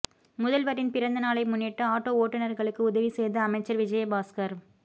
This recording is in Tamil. முதல்வரின் பிறந்த நாளை முன்னிட்டு ஆட்டோ ஓட்டுநர்களுக்கு உதவி செய்த அமைச்சர் விஜய்பாஸ்கர்